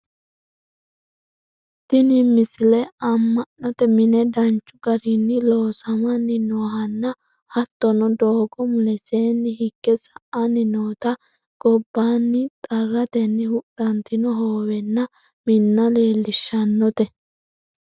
tini misile amma'note mine danchu garinni loosamanni noohanna hattono doogo mulesiinni higge sa'anni noota gobbaanni xarrateni huxxantino hoowenna minna leellishshannote